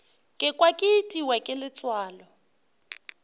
kwa ke itiwa ke letswalo